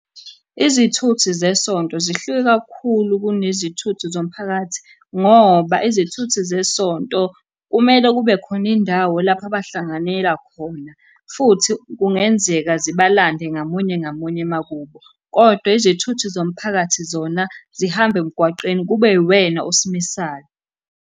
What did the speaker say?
Izithuthi zesonto zihluke kakhulu kunezithuthi zomphakathi, ngoba izithuthi zesonto kumele kube khona indawo lapho abahlanganela khona, futhi kungenzeka zibalande ngamunye ngamunye emakubo, kodwa izithuthi zomphakathi zona zihamba emgwaqeni kube uwena osimisayo.